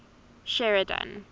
sheridan